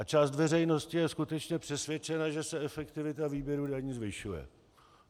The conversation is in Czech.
A část veřejnosti je skutečně přesvědčena, že se efektivita výběru daní zvyšuje.